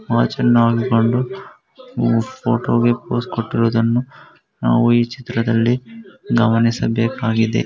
ಅವ ಚನ್ನಾಗಿ ಕಂಡು ಫೋಟೋಗೆ ಫೋಸ್ ಕೊಟ್ಟಿರುವುದನ್ನು ನಾವು ಈ ಚಿತ್ರದಲ್ಲಿ ಗಮನಿಸಬೇಕಾಗಿದೆ .